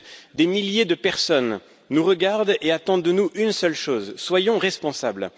Bref, des milliers de personnes nous regardent et attendent de nous une seule chose. Soyons responsables.